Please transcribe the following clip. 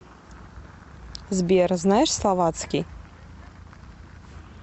сбер знаешь словацкий